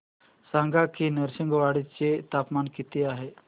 सांगा की नृसिंहवाडी चे तापमान किती आहे